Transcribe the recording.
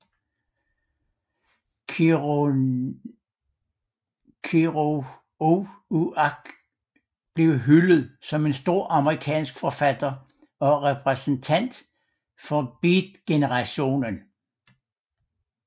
Kerouac blev hyldet som en stor amerikansk forfatter og repræsentant for beatgenerationen